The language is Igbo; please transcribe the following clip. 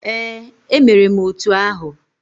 Ee, emere m otu ahụ.